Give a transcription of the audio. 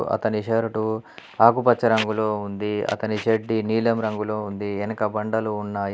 అతని షర్టు ఆకుపచ్చ రంగులో ఉంది. అతని చెడ్డీ నీలం రంగులో ఉంది. వెనక బండలు ఉన్నాయి.